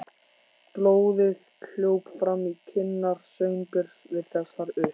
Blóðið hljóp fram í kinnar Sveinbjörns við þessar upp